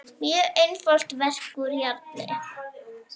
Mjög einfalt verk úr járni.